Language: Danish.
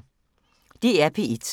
DR P1